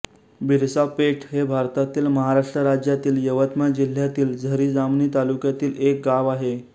बिरसापेठ हे भारतातील महाराष्ट्र राज्यातील यवतमाळ जिल्ह्यातील झरी जामणी तालुक्यातील एक गाव आहे